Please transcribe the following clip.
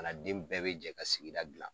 den bɛɛ bɛ jɛ ka sigi gilan.